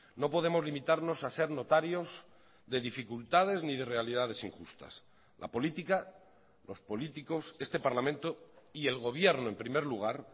no podemos limitarnos a ser notarios de dificultades ni de realidades injustas la política los políticos este parlamento y el gobierno en primer lugar